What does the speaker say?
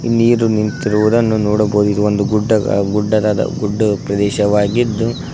ನೀರು ನಿಂತಿರುವುದನ್ನು ನೋಡಬಹುದು ಇದು ಒಂದು ಗುಡ್ಡ ಗುಡ್ಡದಾದ ಗುಡ್ಡ ಪ್ರದೇಶವಾಗಿದ್ದು--